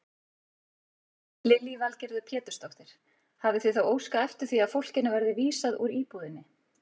Lillý Valgerður Pétursdóttir: Hafið þið þá óskað eftir því að fólkinu verði vísað úr íbúðinni?